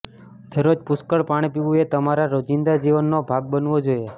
દરરોજ પુષ્કળ પાણી પીવું એ તમારા રોજિંદા જીવનનો ભાગ બનવો જોઈએ